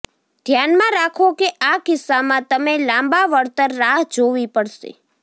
ધ્યાનમાં રાખો કે આ કિસ્સામાં તમે લાંબા વળતર રાહ જોવી પડશે